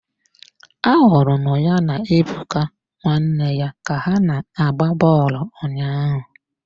Ahụrụ m ya na Ebuka nwanne ya ka ha na-agba bọọlụ ụnyaahụ.